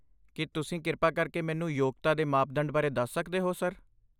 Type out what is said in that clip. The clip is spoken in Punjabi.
ਕੀ ਤੁਸੀਂ ਕਿਰਪਾ ਕਰਕੇ ਮੈਨੂੰ ਯੋਗਤਾ ਦੇ ਮਾਪਦੰਡ ਬਾਰੇ ਦੱਸ ਸਕਦੇ ਹੋ, ਸਰ?